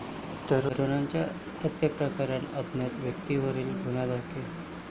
तरुणाच्या हत्येप्रकरणी अज्ञात व्यक्तीविरोधात गुन्हा दाखल